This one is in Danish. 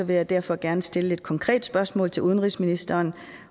vil jeg derfor gerne stille et konkret spørgsmål til udenrigsministeren